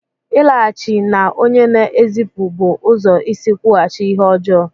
Ịlaghachi na onye na-ezipụ bụ ụzọ isi kwụghachi ihe ọjọọ.